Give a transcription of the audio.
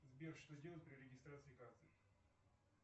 сбер что делать при регистрации карты